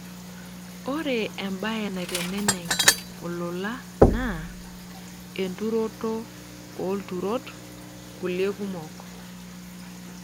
Ore embae naiteneneng' olola naa enturoto oolturot kulie kumok.